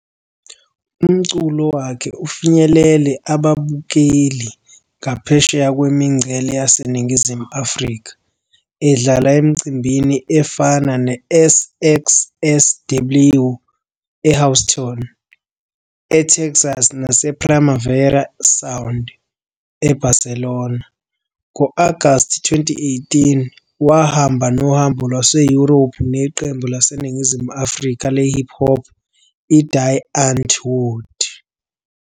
Umculo wakhe ufinyelele ababukeli ngaphesheya kwemingcele yaseNingizimu Afrika, edlala emicimbini efana neSXSW eHouston, eTexas nasePrimavera Sound e-Barcelona. Ngo-Agasti 2018, wahamba nohambo lwaseYurophu neqembu laseNingizimu Afrika le-hop hop i-Die Antwoord.